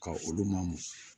Ka olu mamu